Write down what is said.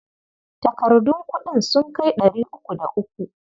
Takardun kuɗin sun kai ɗari uku da uku.